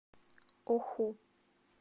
оху